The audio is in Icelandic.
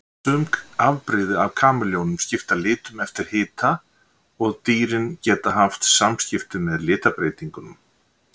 Sum afbrigði af kameljónum skipta litum eftir hita og dýrin geta haft samskipti með litabreytingunum.